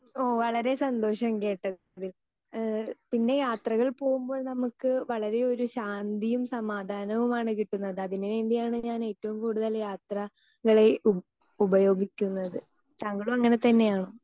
Speaker 2 ഓ വളരെ സന്തോഷം കേട്ടതിൽ. ഏഹ് പിന്നെ യാത്രകൾ പോകുമ്പോൾ നമുക്ക് വളരെ ഒരു ശാന്തിയും സമാധാനവുമാണ് കിട്ടുന്നത് അതിനുവേണ്ടിയാണ് ഞാൻ ഏറ്റവും കൂടുതൽ യാത്ര കളെ ഉ ഉപയോഗിക്കുന്നത്. താങ്കളും അങ്ങനെ തന്നെയാണോ?